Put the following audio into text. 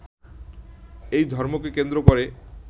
এই ধর্মকে কেন্দ্র করে